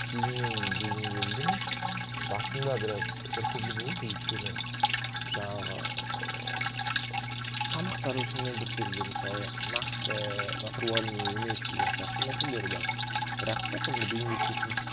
кейіннен бейімделдім басында біраз біртүрлі болды өйткені жаңағы ыыы тамақтары шынымен біртүрлі мысалы нақты натуральный емес деген сияқты мәселелер бар бірақ та соңында бейімделіп кеттім